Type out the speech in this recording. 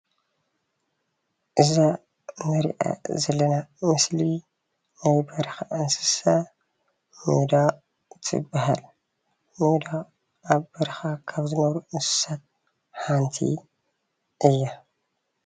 እዛ እንሪኣ ዘለና ምስሊ ናይ በረካ እንስሳ ሚዳቅ ትበሃል፣ ሚዳቅ ኣብ በረካ ካብ ዝነብሩ እንስሳት ሓንቲ እያ፡፡